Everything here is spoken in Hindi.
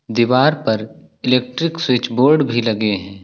दीवार पर इलेक्ट्रिक स्विच बोर्ड भी लगे हैं।